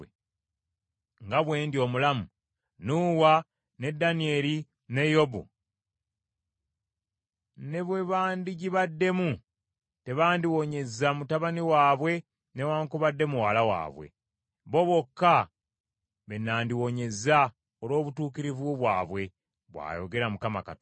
nga bwe ndi omulamu, Nuuwa ne Danyeri ne Yobu ne bwe bandigibaddemu, tebandiwonyezza mutabani waabwe newaakubadde muwala waabwe. Bo bokka be nandiwonyezza olw’obutuukirivu bwabwe, bw’ayogera Mukama Katonda.